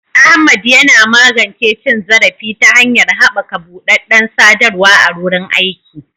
Ahmad yana magance cin zarafi ta hanyar haɓaka buɗaɗɗen sadarwa a wurin aiki.